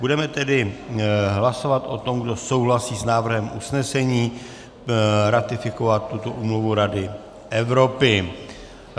Budeme tedy hlasovat o tom, kdo souhlasí s návrhem usnesení ratifikovat tuto úmluvu Rady Evropy.